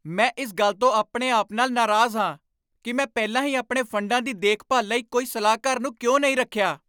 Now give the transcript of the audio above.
ਮੈਂ ਇਸ ਗੱਲ ਤੋਂ ਆਪਣੇ ਆਪ ਨਾਲ ਨਾਰਾਜ਼ ਹਾਂ ਕਿ ਮੈਂ ਪਹਿਲਾਂ ਹੀ ਆਪਣੇ ਫੰਡਾਂ ਦੀ ਦੇਖਭਾਲ ਲਈ ਕੋਈ ਸਲਾਹਕਾਰ ਨੂੰ ਕਿਉਂ ਨਹੀਂ ਰੱਖਿਆ।